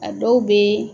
A dɔw bɛ